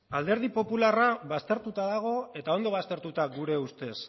alderdi popularra baztertuta dago eta ondo baztertuta gure ustez